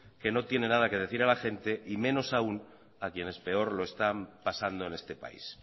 que no tiene nada que decir a la gente y menos aún a quienes peor lo están pasando en este país